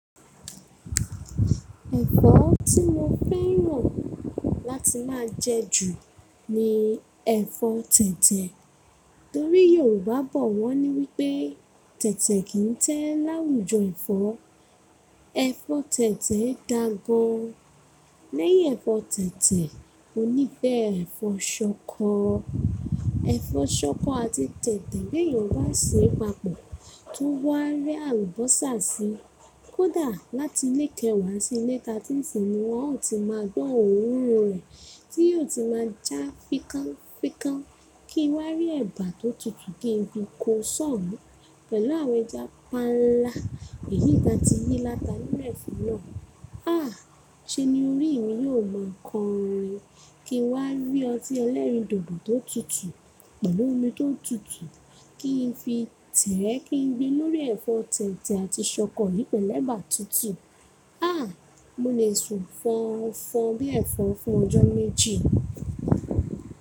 Ẹ̀fọ́ tí mo fẹ́ràn láti máa jẹ jù ni ẹ̀fọ́ tẹ̀tẹ̀. Torí Yorùbá bọ̀ wọ́n ní wípé tẹ̀tẹ̀ kì í tẹ́ láwùjọ ẹ̀fọ́. Ẹ̀fọ́ tẹ̀tẹ̀ ẹ da gan. Lẹ́yìn ẹ̀fọ́ tẹ̀tẹ̀, mo níí fẹ́ ẹ̀fọ́ ṣọkọ. Ẹ̀fọ́ ṣọkọ àti tẹ̀tẹ̀ bí eyan ba ṣe pàpọ̀ tó wá rẹ àlùbọ́sà sí, kódà látilé kẹwàá sílé ta tínse, wọn ó ti máa gbọ́n òrun rẹ̀ tí yóò ti máa já fikánfikán kí n wá rí ẹ̀bà tó tutù kí n fi ko ṣọ̀ù pẹ̀lú àwọn ẹja panla èyí ta tí yìí lata nẹ́ẹ̀fi náà. Ah! Ṣé ni orí mi yóò máa kọrin kí n wá rí ọtí ẹlẹ́rìndòdò tó tutù pẹ̀lú omi tó tutù kí n fi tẹ̀ẹ́ kí n gbin lórí ẹ̀fọ́ tẹ̀tẹ̀ àti ṣọkọ lí pelu ẹ̀bà tutù. Ah! Mo lè sùn fọn fọn bí ẹ̀fọ́n fún ọjọ́ méjì.